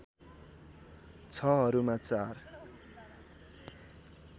६ हरूमा ४